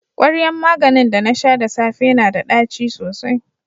kwaryan maganin da na sha da safe yana da ɗaci sosai.